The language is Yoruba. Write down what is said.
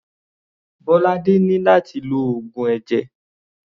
Bolade ní láti lo oògùn ẹ̀jẹ̀.